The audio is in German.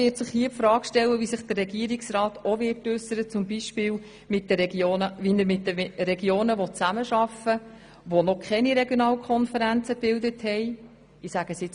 Wie will der Regierungsrat beispielsweise mit den Regionen zusammenarbeiten, die noch keine Regionalkonferenzen gebildet haben?